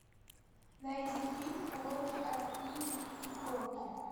найди фильм уроки от пинги и кроки